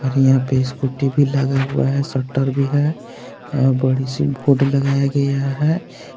और यहां पे स्कूटी भी लगा हुआ है शटर भी है और बड़ी सी बोर्ड लगाया गयी है।